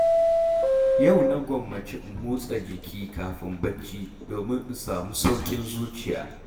Yau na gwammaci in motsa jiki kafin barci, domin in samu sauƙin zuciya.